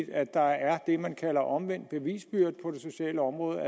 at der er det man kalder omvendt bevisbyrde på det sociale område at